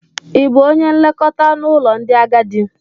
Ị bụ onye nlekọta n'ụlọ ndị agadi?